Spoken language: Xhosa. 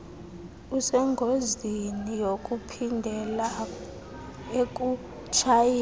usengozini yokuphindela ekutshayeni